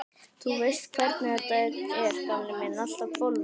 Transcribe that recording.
Þú veist hvernig þetta er, gamli minn, allt á hvolfi.